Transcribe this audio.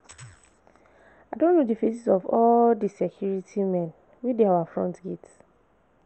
I don know the faces of all the security men wey dey our front gate